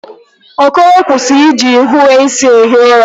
Okoro, kwụsị ịji nhiweisi ehi ụra!